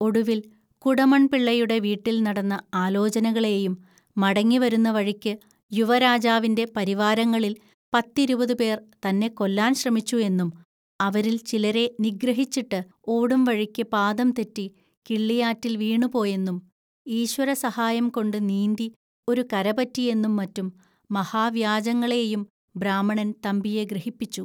ഒടുവിൽ, കുടമൺപിള്ളയുടെ വീട്ടിൽ നടന്ന ആലോചനകളെയും, മടങ്ങി വരുന്ന വഴിക്ക് യുവാരാജാവിന്റെ പരിവാരങ്ങളിൽ പത്തിരുപതുപേർ തന്നെ കൊല്ലാൻ ശ്രമിച്ചു എന്നും, അവരിൽ ചിലരെ നിഗ്രഹിച്ചിട്ട് ഓടുംവഴിക്ക് പാദംതെറ്റി കിള്ളിയാറ്റിൽ വീണുപോയെന്നും, ഈശ്വരസഹായംകൊണ്ട് നീന്തി ഒരു കരപറ്റിയെന്നും മറ്റും മഹാവ്യാജങ്ങളെയും ബ്രാഹ്മണൻ തമ്പിയെ ഗ്രഹിപ്പിച്ചു